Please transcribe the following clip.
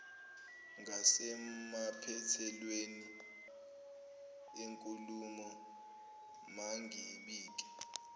ngasemaphethelweni enkulumo mangibike